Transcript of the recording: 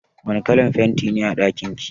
Wace kalar fenti ne a ɗakin ki?